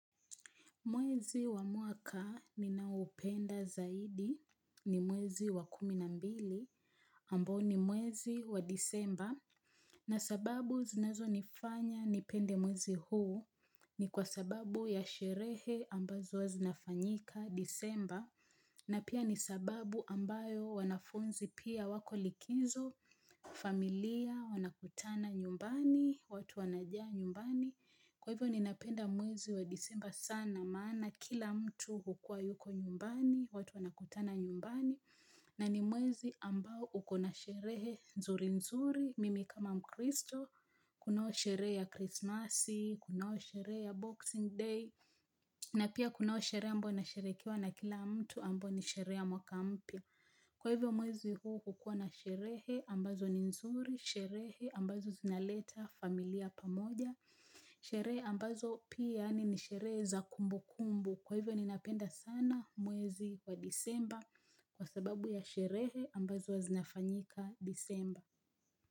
Mwezi wa mwaka ninaoupenda zaidi ni mwezi wa kumi na mbili ambao ni mwezi wa disemba na sababu zinazonifanya nipende mwezi huu ni kwa sababu ya sherehe ambazo huwa zinafanyika disemba na pia ni sababu ambayo wanafunzi pia wako likizo familia wanakutana nyumbani watu wanajaa nyumbani Kwa hivyo ninapenda mwezi wa disemba sana maana kila mtu hukua yuko nyumbani, watu wanakutana nyumbani, na ni mwezi ambao uko na sherehe nzuri nzuri, mimi kama mkristo, kunao sherehe ya krismasi, kunao sherehe ya boxing day, na pia kunao sherehe ambao inasherekiwa na kila mtu ambao ni sherehe ya mwaka mpya. Kwa hivyo mwezi huu hukua na sherehe ambazo ni nzuri, sherehe ambazo zinaleta familia pamoja, sherehe ambazo pia yaani ni sherehe za kumbu kumbu. Kwa hivyo ninapenda sana mwezi wa disemba kwa sababu ya sherehe ambazo huwa zinafanyika disemba.